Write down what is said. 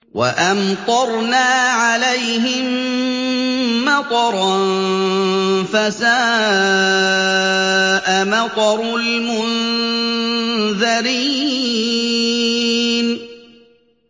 وَأَمْطَرْنَا عَلَيْهِم مَّطَرًا ۖ فَسَاءَ مَطَرُ الْمُنذَرِينَ